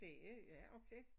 Det er ja okay